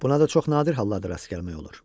Buna da çox nadir hallarda rast gəlmək olur.